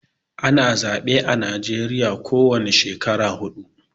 Ana zaɓe a najeriya ko wani shekara huɗu